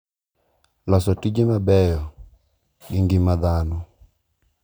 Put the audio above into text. Loso tije mabeyo gi ngima dhano.